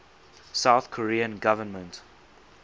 south korean government